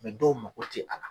dɔw mago ti ala la